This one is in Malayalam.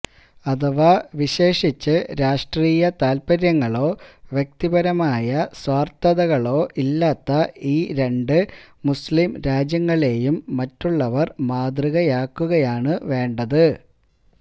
അഥവാ വിശേഷിച്ചു രാഷ്ട്രതാല്പര്യങ്ങളോ വ്യക്തിപരമായ സ്വാര്ഥതകളോ ഇല്ലാത്ത ഈ രണ്ട് മുസ്ലിം രാജ്യങ്ങളെയും മറ്റുള്ളവര് മാതൃകയാക്കുകയാണ് വേണ്ടത്